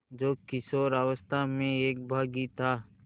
जो किशोरावस्था में एक बाग़ी था